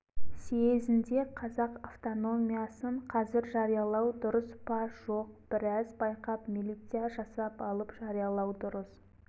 съезінде қазақ автономиясын қазір жариялау дұрыс па жоқ біраз байқап милиция жасап алып жариялау дұрыс